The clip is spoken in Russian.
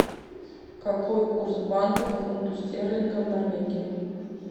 какой курс банка к фунту стерлингов в норвегии